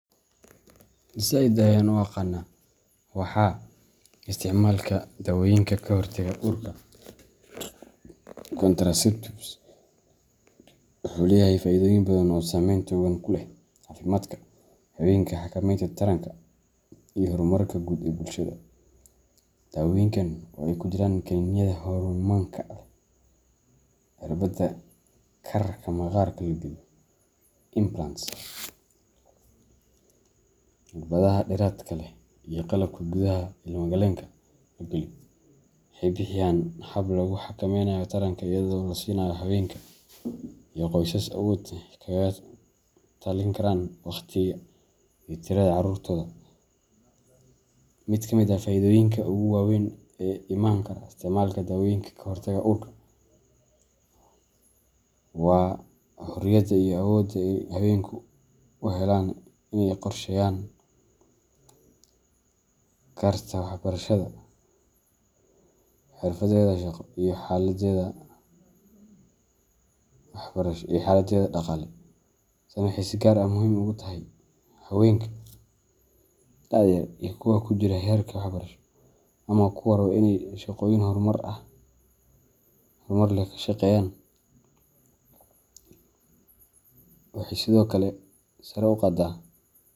Zaid ayan u aqana waxaa, isticmaalka dawooyinka ka hortagga uurka contraceptives wuxuu leeyahay faa’iidooyin badan oo saameyn togan ku leh caafimaadka haweenka, xakameynta taranka, iyo horumarka guud ee bulshada. Dawooyinkan, oo ay ku jiraan kaniiniyada hormoonka leh, cirbada, kaararka maqaarka la geliyo implants, cirbadaha dheeraadka leh, iyo qalabka gudaha ilma galeenka la geliyo , waxay bixiyaan hab lagu xakameeyo taranka iyadoo la siinayo haweenka iyo qoysaska awood ay kaga talin karaan wakhtiga iyo tirada carruurtooda. Mid ka mid ah faa’iidooyinka ugu waaweyn ee ka iman kara isticmaalka dawooyinka ka hortagga uurka waa xorriyadda iyo awoodda ay haweenku u helaan inay qorsheeyaan noloshooda. Marka haweeneydu ay dooran karto goorta ay uur yeelaneyso, waxay si fiican u qorsheyn kartaa waxbarashadeeda, xirfadeeda shaqo, iyo xaaladdeeda dhaqaale. Tani waxay si gaar ah muhiim ugu tahay haweenka da'da yar iyo kuwa ku jira heerarka waxbarasho ama kuwa raba inay shaqooyin horumar leh ka shaqeeyaan. Waxay sidoo kale sare u qaaddaa.